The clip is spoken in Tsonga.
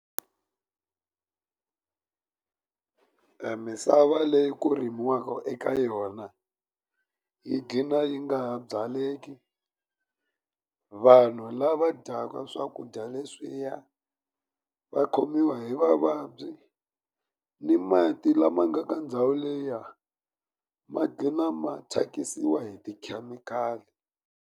Misava leyi ku rimiwaka eka yona yi gqina yi nga ha byaleki hi vanhu lava dyaka ka swakudya leswiya va khomiwa hi mavabyi ni mati lama nga ka ndhawu liya ma gcina ma thyakisiwa hi tikhemikhali.